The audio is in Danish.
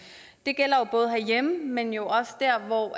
det gælder både herhjemme men jo også dér hvor